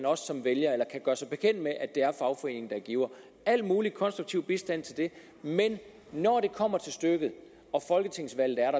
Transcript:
som vælger eller kan gøre sig bekendt med at det er fagforeningen der giver al mulig konstruktiv bistand til det men når det kommer til stykket og folketingsvalget er